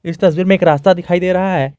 इस तस्वीर में एक रास्ता दिखाई दे रहा है।